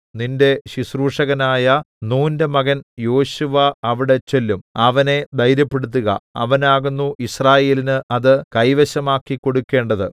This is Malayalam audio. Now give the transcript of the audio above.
നിന്റെ ശുശ്രൂഷകനായ നൂന്റെ മകൻ യോശുവ അവിടെ ചെല്ലും അവനെ ധൈര്യപ്പെടുത്തുക അവനാകുന്നു യിസ്രായേലിന് അത് കൈവശമാക്കിക്കൊടുക്കേണ്ടത്